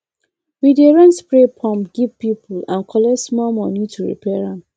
we dey rent spray pump give people and collect small money to repair am